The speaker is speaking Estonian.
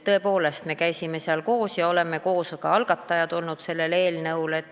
Tõepoolest, me koos käisime seal ja oleme koos olnud ka selle eelnõu algatajad.